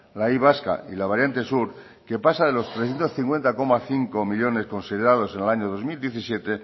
la y vasca y la variante sur que pasa de los trescientos cincuenta coma cinco millónes considerados en el año dos mil diecisiete